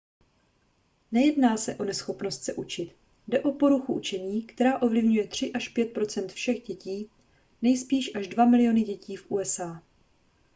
nejedná se o neschopnost se učit jde o poruchu učení která ovlivňuje 3 až 5 % všech dětí nejspíš až dva miliony dětí v usa